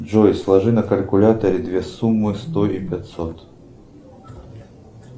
джой сложи на калькуляторе две суммы сто и пятьсот